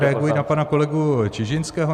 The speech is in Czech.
Reaguji na pana kolegu Čižinského.